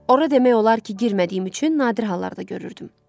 Ora demək olar ki, girmədiyim üçün nadir hallarda görürdüm.